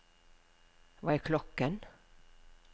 hva er klokken